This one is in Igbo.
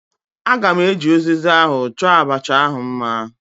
Aga m eji uziza ahụ chọọ abacha ahu mma